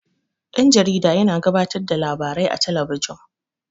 Dan-jarida yana gabatar da labarai a talabijin.